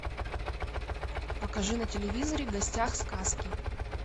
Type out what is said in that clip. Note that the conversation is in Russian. покажи на телевизоре в гостях сказки